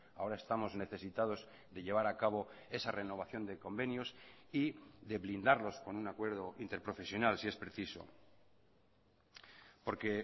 ahora estamos necesitados de llevar a cabo esa renovación de convenios y de blindarlos con un acuerdo interprofesional si es preciso porque